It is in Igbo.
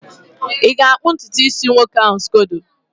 ị ga-akpụ ntutu isi nwoke ahụ scodo?